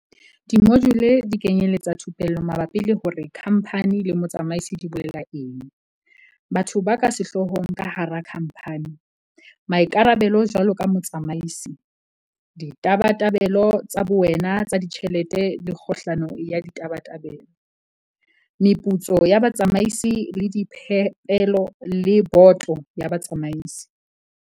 Dimojule di kenyeletsa thupello mabapi le hore kha mphani le motsamaisi di bolela eng, batho ba ka sehloohong ka hara khamphani, maikarabelo jwaloka motsamaisi, ditabatabelo tsa bowena tsa ditjhelete le kgohlano ya ditabatabelo, meputso ya batsamaisi le diphepelo le boto ya batsamaisi.